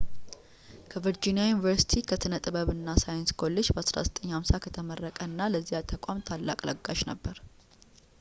ከቨርጂኒያ ዩኒቨርሲቲ ከሥነ ጥበብ እና ሳይንስ ኮሌጅ በ1950 ከተመረቀ እና ለዚያ ተቋም ታላቅ ለጋሽ ነበር